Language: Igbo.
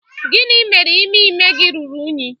gini mere ime ime gi ruru unyi?